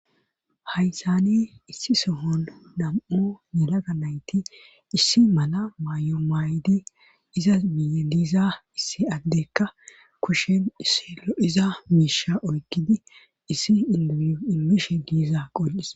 haysani issi sohon dam7o nelaga nayti issi mala maayo maaydi izas biye diiza issi addekka kushen issilo iza miisha oykkidi issi indiiyu imishe diiza qol7is